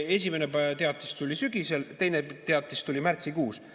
Esimene teatis tuli sügisel, teine teatis tuli märtsikuus.